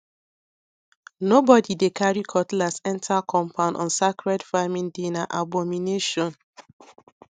nobody dey carry cutlass enter compound on sacred farming dayna abomination